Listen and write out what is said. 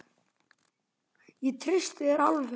Ég treysti þér alveg!